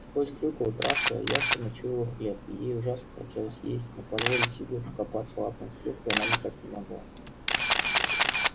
сквозь клюкву травка явственно чуяла хлеб и ей ужасно хотелось есть но позволить себе покопаться лапами в клюкве она никак не могла